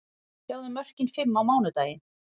Sjáðu mörkin fimm á mánudaginn: